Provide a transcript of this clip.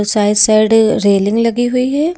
Side side railing लगी हुई है।